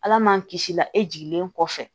Ala man kisi la e jiginnen kɔfɛ